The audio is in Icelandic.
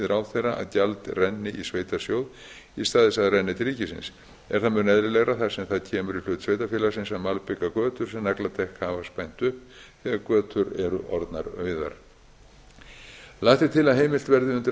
að gjald renni í sveitarsjóð í stað þess að það renni til ríkisins er það mun eðlilegra þar sem það kemur í hlut sveitarfélagsins að malbika götur sem nagladekk hafa spænt upp þegar götur eru orðnar auðar lagt er til að heimilt verði undir